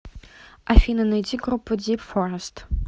афина найди группу дип форест